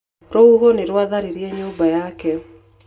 Rũhuho nĩ rwatharirire nyũmba yake.